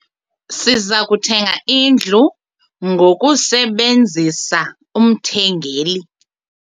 Siza kuthenga indlu ngokusebenzisa umthengeli.